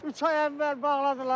Üç ay əvvəl bağladılar.